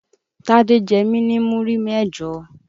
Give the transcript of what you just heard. Tádé jẹ́ mi ni múrí mẹ́jọ.